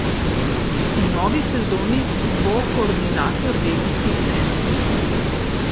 V novi sezoni bo koordinator regijskih centrov.